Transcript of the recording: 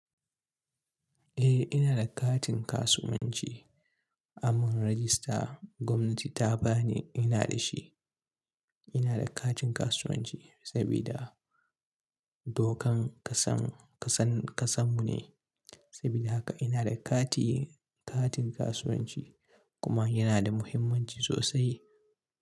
Eh, ina da katin kasuwanci. Amun rajista gwamnati ta ba ni, ina da shi. Ina da katin kasuwanci sabida dokan kasan, kasan, kasan mu ne. Sabida haka ina da kati, katin kasuwanci kuma yana da muhimmanci sosai.